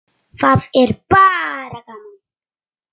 Það er bara gaman